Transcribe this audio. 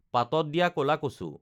পাতত দিয়া ক'লা কচু